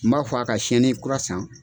N b'a fɔ a ka sɛni kura san.